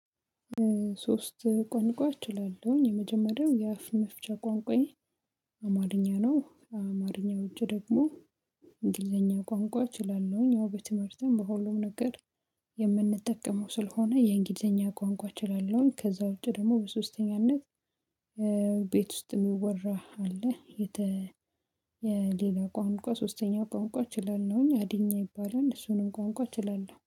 ሶስት ቋንቋ እችላለሁኝ የመጀመሪያው የአፍ መፍቻ ቋንቋዬ አማርኛ ነው። ከአማረኛ ውጭ ደግሞ እንግሊዘኛ ቋንቋ እችላለሁኝ ያው በትምህርትም በሁሉም ነገር ስለሆነ የእንግሊዘኛ ቋንቋ እችላለሁኝ። ከዛ ውጪ ደግሞ በሶስተኛነት ቤት ውስጥ የሚወራ አለ። የሌላ ቋንቋ ሶስተኛ ቋንቋ ችላለሁኝ አዲኛ ይባላል እሱንም ቋንቋ ችላለሁ